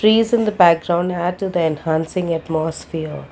trees in the background add to the enhancing atmosphere.